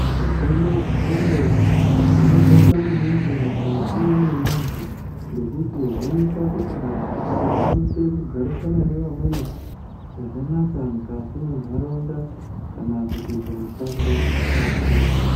Hutano hwengonxo hwakakosha maningi mukati memuntu ngekuti hunoita kuti muntu akwanise kugarisana nevamweni zvakanaka mukati mendaraunda kana kuti kumishando kwake.